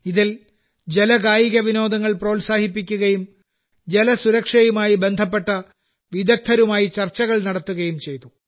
ഇതിൽ ജല കായിക വിനോദങ്ങൾ പ്രോത്സാഹിപ്പിക്കുകയും ജലസുരക്ഷയുമായി ബന്ധപ്പെട്ട വിദഗ്ദ്ധരുമായി ചർച്ചകൾ നടത്തുകയും ചെയ്തു